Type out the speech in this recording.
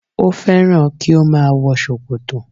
Ó fẹ́ràn kí ó má a wọ sòkòtò